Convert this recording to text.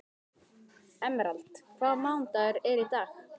Emerald, hvaða mánaðardagur er í dag?